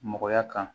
Mɔgɔya kan